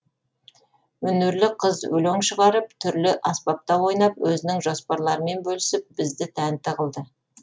өнерлі қыз өлең шығарып түрлі аспапта ойнап өзінің жоспарларымен бөлісіп бізді тәнті қылды